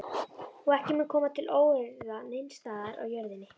Og ekki mun koma til óeirða neins staðar á jörðinni.